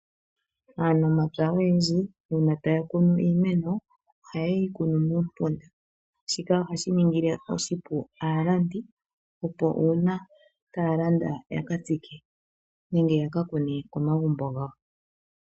Aanamapya oyendji uuna taya kunu iimeno oheye yi kunu muumpunda, shika ohashi ningile oshipu aalandi opo uuna taya landa ya ka tsike nenge ya ka kune komagumbo gawo.